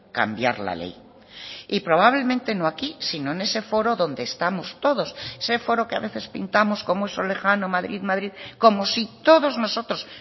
cambiar la ley y probablemente no aquí sino en ese foro donde estamos todos ese foro que a veces pintamos como eso lejano madrid madrid como si todos nosotros